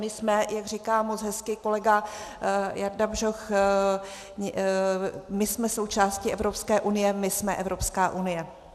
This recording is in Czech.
My jsme, jak říká moc hezky kolega Jarda Bžoch, my jsme součástí Evropské unie, my jsme Evropská unie.